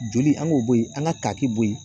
Joli an k'o bɔ yen an ka kaaki bɔ yen